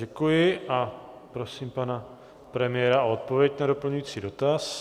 Děkuji a prosím pana premiéra o odpověď na doplňující dotaz.